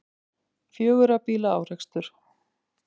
Fjögurra bíla árekstur